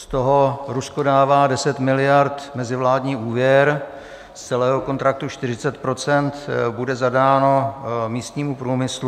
Z toho Rusko dává 10 miliard mezivládní úvěr, z celého kontraktu 40 % bude zadáno místnímu průmyslu.